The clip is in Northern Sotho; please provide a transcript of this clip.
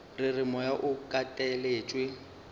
re re moya o kateletšwe